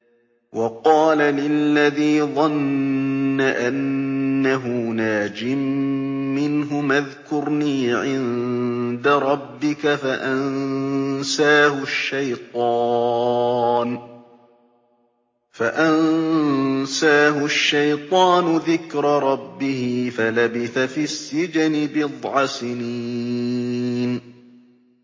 وَقَالَ لِلَّذِي ظَنَّ أَنَّهُ نَاجٍ مِّنْهُمَا اذْكُرْنِي عِندَ رَبِّكَ فَأَنسَاهُ الشَّيْطَانُ ذِكْرَ رَبِّهِ فَلَبِثَ فِي السِّجْنِ بِضْعَ سِنِينَ